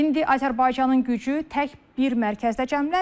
İndi Azərbaycanın gücü tək bir mərkəzdə cəmlənmir.